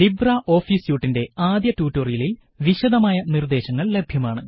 Libre office സ്യൂട്ടിന്റെ ആദ്യ ട്യൂട്ടോറിയലില് വിശദമായ നിര്ദേശങ്ങള് ലഭ്യമാണ്